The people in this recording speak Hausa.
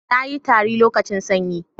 na yi tari lokacin sanyi